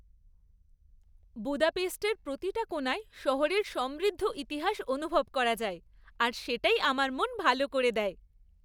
বুদাপেস্টের প্রতিটা কোণায় শহরের সমৃদ্ধ ইতিহাস অনুভব করা যায় আর সেটাই আমার মন ভালো করে দেয়।